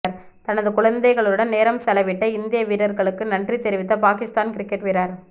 தனது குழந்தைகளுடன் நேரம் செலவிட்ட இந்திய வீரர்களுக்கு நன்றி தெரிவித்த பாகிஸ்தான் கிரிக்கெட் வீரர்